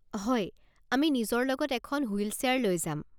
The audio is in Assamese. হয়, আমি নিজৰ লগত এখন হুইল চেয়াৰ লৈ যাম।